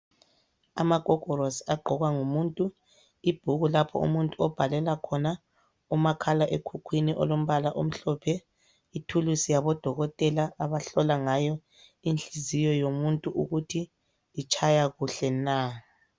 Amagogorosi agqokwa ngumuntu, ibhuku lapho umuntu obhalela khona, umakhala ekhukhwini olombala omhlophe, ithulusi yabodokotela abahlola ngayo inhliziyo yomuntu ukuthi itshaya kuhle na.